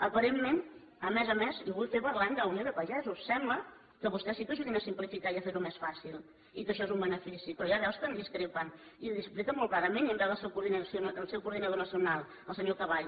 aparentment a més a més i ho vull fer parlant d’unió de pagesos sembla que vostès sí que ajudin a simplificar i a fer ho més fàcil i que això és un benefici però hi ha veus que en discrepen i ho expliquen molt clarament i en veu del seu coordinador nacional el senyor caball